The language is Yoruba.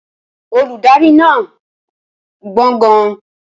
Olùdarí náà gbọ́n gan-an.